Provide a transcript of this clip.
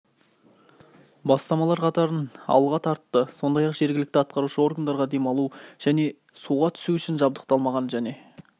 бастамалар қатарын алға тартты сондай-ақ жергілікті атқарушы органдарға демалу және суға түсу үшін жабдықталмаған және